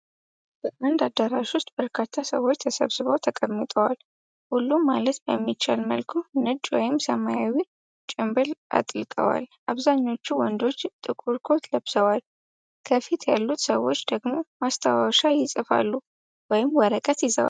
በአንድ አዳራሽ ውስጥ በርካታ ሰዎች ተሰብስበው ተቀምጠዋል። ሁሉም ማለት በሚቻል መልኩ ነጭ ወይም ሰማያዊ ጭምብል አጥልቀዋል። አብዛኞቹ ወንዶች ጥቁር ኮት ለብሰዋል፤ ከፊት ያሉት ሰዎች ደግሞ ማስታወሻ ይጽፋሉ ወይም ወረቀት ይዘዋል።